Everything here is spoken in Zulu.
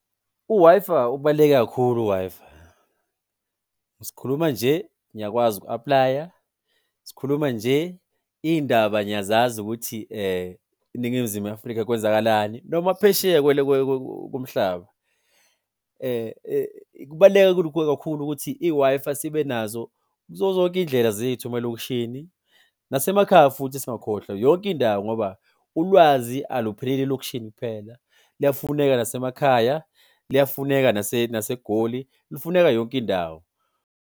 U-Wi-Fi ubaluleke kakhulu u-Wi-Fi. Sikhuluma nje ngiyakwazi uku-apply-a, sikhuluma nje iy'ndaba ngiyazazi ukuthi, eNingizimu Afrika kwenzakalani noma phesheya komhlaba. Kubaluleke kakhulu ukuthi i-Wi-Fi sibe nazo kuzo zonke iy'ndlela zethu emalokishini nasemakhaya futhi singakhohlwa yonke indawo ngoba ulwazi alupheleli elokishini kuphela. Luyafuneka nasemakhaya, luyafuneka naseGoli, lufuneka yonke indawo.